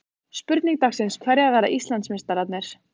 Spurning dagsins: Hverjir verða Íslandsmeistarar?